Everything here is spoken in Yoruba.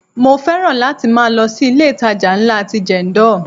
Mo fẹ́ràn láti máa lọ sí ilé itàjà ńlá ti Jendol.